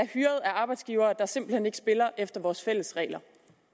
hyret af arbejdsgivere der simpelt hen ikke spiller efter vores fælles regler